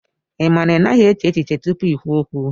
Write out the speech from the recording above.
Ị ma na ị naghị eche echiche tupu i kwuo okwu